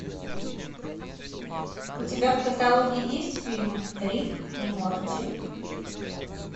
у тебя в каталоге есть фильм рик и морти